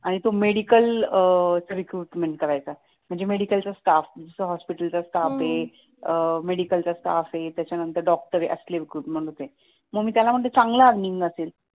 आणि तो medical recruitment करायचा म्हणजे medical staff जस हॉस्पिटलचा स्टाफ हे हम्म medical staff त्याच्यानंतर डॉकटर असले रिक्रूटमेंट होते मग मी त्याला म्हंटल चांगलं earning असेल